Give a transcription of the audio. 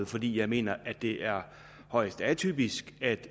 fordi jeg mener at det er højst atypisk at